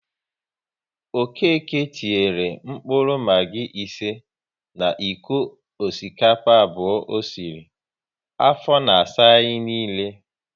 Okéke tinyere mkpụrụ Maggi ise na iko osikapa abụọ o sịrị, afọ na asa anyị niile